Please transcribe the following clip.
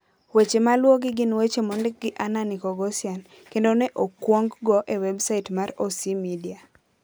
Weche maluwogi gin weche mondik gi Anna Nikoghosyan, kendo ne okwong go e websait mar OC Media.